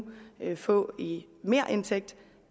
kan få i merindtægt